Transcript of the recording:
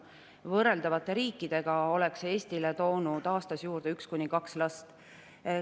Võrreldavate riikide oleks see Eestile toonud aastas juurde 1–2 last.